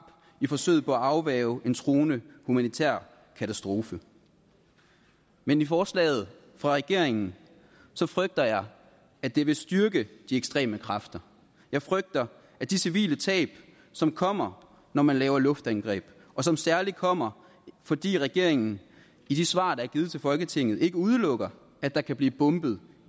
i forsøget på at afværge en truende humanitær katastrofe men i forslaget fra regeringen frygter jeg at det vil styrke de ekstreme kræfter jeg frygter de civile tab som kommer når man laver luftangreb og som særlig kommer fordi regeringen i de svar der er givet til folketinget ikke udelukker at der kan blive bombet